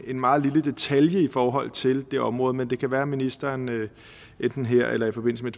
en meget lille detalje i forhold til det område men det kan være at ministeren enten her eller i forbindelse med